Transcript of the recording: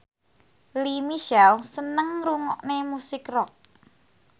Lea Michele seneng ngrungokne musik rock